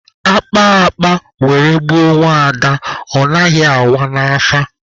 A kpaa akpa were gbuo nwaada, ọ naghị awa n'afa.